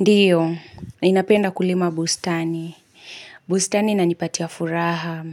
Ndio, ninapenda kulima bustani. Bustani inanipatia furaha.